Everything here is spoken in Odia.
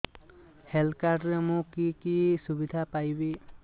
ହେଲ୍ଥ କାର୍ଡ ରେ ମୁଁ କି କି ସୁବିଧା ପାଇବି